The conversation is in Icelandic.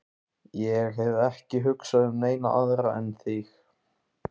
Ég hef ekki hugsað um neina aðra en þig.